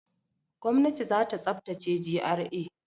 Gwamnati za ta tsaftace GRA.